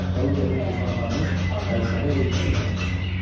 Onun evini tufan aparmış və uşağı ilə yurdsuz qalmışdı.